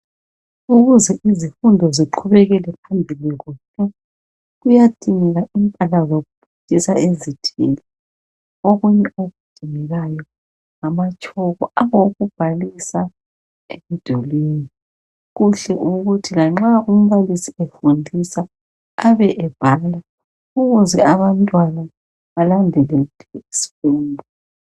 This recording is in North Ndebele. Ukuze izifundo ziqhubekele phambili kuhle kuyadingeka impahla zokufundisa ezithile okunye okudingekayo ngamatshoko awokubhalisa emdulini. Kuhle ukuthi lanxa umbalisi efundisa abe ebhala ukuze abantwana balandelele isifundo.